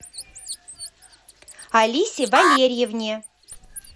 алисе валерьевне